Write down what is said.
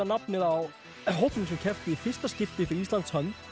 nafnið á hópnum sem keppti í fyrsta skipti fyrir Íslands hönd